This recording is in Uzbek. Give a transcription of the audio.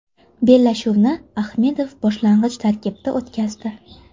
Bellashuvni Ahmedov boshlang‘ich tarkibda o‘tkazdi.